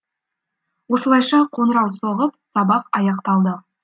осылайша қоңырау соғып сабақ аяқталды